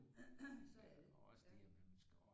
Så er det ja